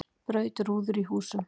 Braut rúður í húsum